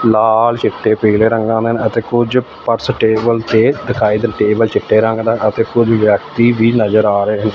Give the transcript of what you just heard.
ਲਾਲ ਚਿੱਟੇ ਪੀਲੇ ਰੰਗਾਂ ਦੇ ਅਤੇ ਕੁਝ ਪਰਸ ਟੇਬਲ ਤੇ ਦਿਖਾਈ ਦਿੱਤੇ ਚਿੱਟੇ ਰੰਗ ਦਾ ਅਤੇ ਕੁਝ ਵਿਅਕਤੀ ਵੀ ਨਜ਼ਰ ਆ ਰਹੇ।